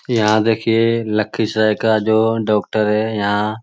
यहाँ देखिए लखीसराय का जो डॉक्टर है यहाँ --